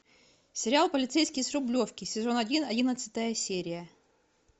сериал полицейский с рублевки сезон один одиннадцатая серия